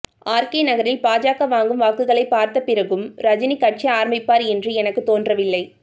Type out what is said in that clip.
RK நகரில் பாஜக வாங்கும் வாக்குகளைப் பார்த்த பிறகும் ரஜினி கட்சி ஆரம்பிப்பார் என்று எனக்குத் தோன்றவில்லை